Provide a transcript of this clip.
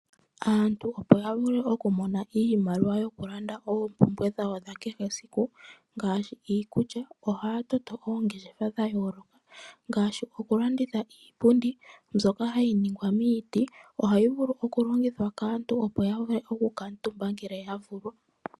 Aantu opo ya vule okumona iimaliwa yokulanda oompumbwe dhawo dha kehe esiku, ngaashi iikulya ohaya toto oongeshefa dha yooloka ngaashi okulanditha iipundi mbyoka hayi ningwa miiti. Ohayi vulu okulongithwa kaantu, opo ya vule okukuutumba ngele ya vulwa.